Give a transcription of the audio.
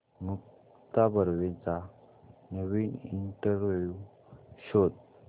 मुक्ता बर्वेचा नवीन इंटरव्ह्यु शोध